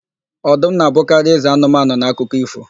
Ọdụm na-abụkarị eze anụmanụ n'akụkọ ífò.